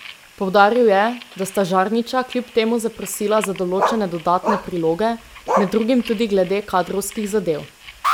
Poudaril je, da sta Žarnića kljub temu zaprosila za določene dodatne priloge, med drugim tudi glede kadrovskih zadev.